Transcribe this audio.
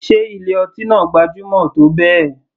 Sé ilé ọtí náà gbajúmọ̀ tó bẹ́ẹ̀.